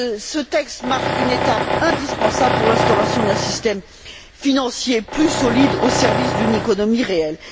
Ce texte marque une étape indispensable pour l'instauration d'un système financier plus solide au service d'une économie réelle.